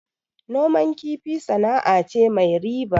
Noman kifi sana'a ce mai riba